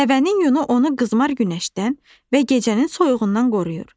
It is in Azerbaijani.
Dəvənin yunu onu qızmar günəşdən və gecənin soyuğundan qoruyur.